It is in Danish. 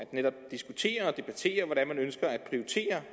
diskutere og debattere hvordan man ønsker at prioritere